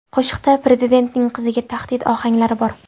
Qo‘shiqda prezidentning qiziga tahdid ohanglari bor.